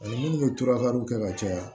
Ani minnu bɛ to ka kɛ ka caya